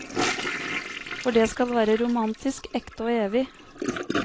For det skal være romantisk, ekte og evig.